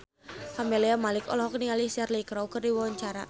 Camelia Malik olohok ningali Cheryl Crow keur diwawancara